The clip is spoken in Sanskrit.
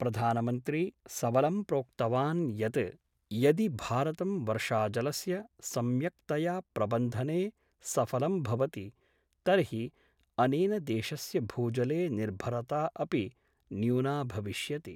प्रधानमन्त्री सबलं प्रोक्तवान् यत् यदि भारतं वर्षाजलस्य सम्यक्तया प्रबन्धने सफलं भवति तर्हि अनेन देशस्य भूजले निर्भरता अपि न्यूना भविष्यति।